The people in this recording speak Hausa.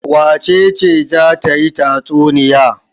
Wace ce za ta yi tatsunniya?